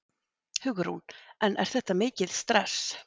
Hugrún: En er þetta mikið stress?